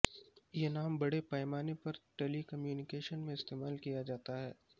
یہ نام بڑے پیمانے پر ٹیلی کمیونیکیشن میں استعمال کیا جاتا ہے